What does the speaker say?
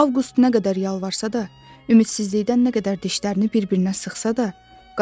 Avqust nə qədər yalvarsa da, ümidsizlikdən nə qədər dişlərini bir-birinə sıxsa da,